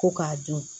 Ko k'a dun